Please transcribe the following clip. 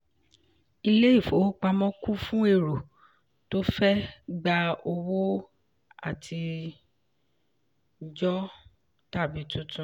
ilé ìfowópamọ́ kún fún èrò tó fẹ gba owó àtijọ tàbí tuntun.